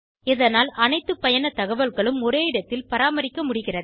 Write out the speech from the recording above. இதனால் அனைத்து பயணத் தகவல்களும் ஒரே இடத்தில் பராமரிக்க முடிகிறது